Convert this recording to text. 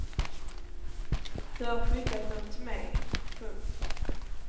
Du har skickat dom till mej. punkt